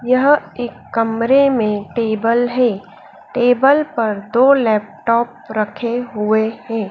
यह एक कमरे में टेबल है टेबल पर दो लैपटॉप रखे हुए हैं।